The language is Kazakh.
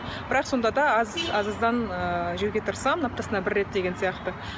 бірақ сонда да аз аз аздан ыыы жеуге тырысамын аптасына бір рет деген сияқты